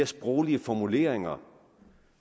sproglige formuleringer